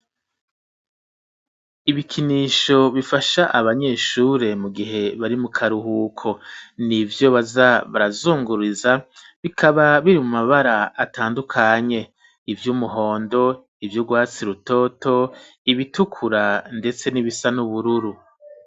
Ibikinisho bifasha abanyeshure mu gihe bari mu karuhuko nivyo baza barazunguriza bikaba biri mu mabara atandukanye ivyumuhondo ivyurwatsi rutoto ibitukura ndetse n'ibisa n'ubururu.